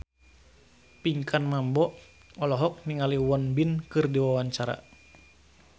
Pinkan Mambo olohok ningali Won Bin keur diwawancara